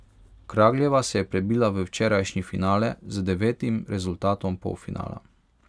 Kragljeva se je prebila v včerajšnji finale z devetim rezultatom polfinala.